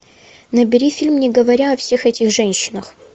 набери фильм не говоря о всех этих женщинах